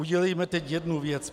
Udělejme teď jednu věc.